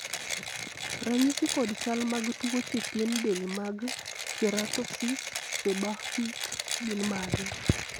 ranyisi kod chal mag tuoche pien del mag Keratosis, seborrheic gin mage?